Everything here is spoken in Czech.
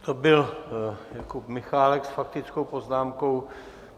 To byl Jakub Michálek s faktickou poznámkou.